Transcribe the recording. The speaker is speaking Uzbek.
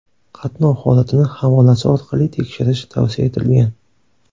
Qatnov holatini havolasi orqali tekshirish tavsiya etilgan.